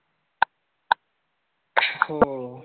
हम्म